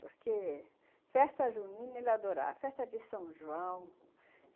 Porque festa junina ele adorava, festa de São João...